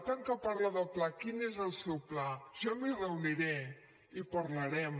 tant que parla de pla quin és el seu pla jo m’hi reuniré i parlarem